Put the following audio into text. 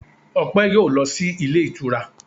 Ọpẹ yóò lọ sí ilé ìtura